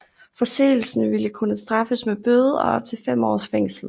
Forseelsen ville kunne straffes med bøde og op til fem års fængsel